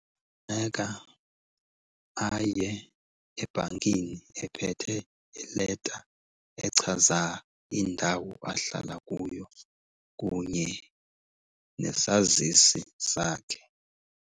Funeka aye ebhankini ephethe ileta echaza indawo ahlala kuyo kunye nesazisi sakhe.